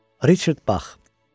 Richard Bax.